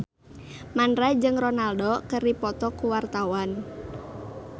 Mandra jeung Ronaldo keur dipoto ku wartawan